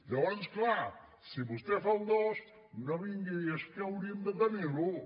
llavors clar si vostè fa el dos no vingui a dir és que hauríem de tenir l’un